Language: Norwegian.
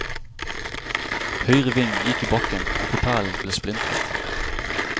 Høyre ving gikk i bakken og propellen ble splintret.